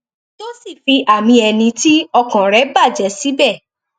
tó sì fi àmì ẹni tí ọkàn rẹ bàjẹ síbẹ